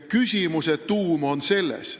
Küsimuse tuum on järgnevas.